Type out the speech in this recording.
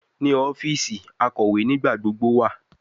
Ni ọfiisi, akọwe nigbagbogbo wa